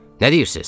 Nə deyirsiz?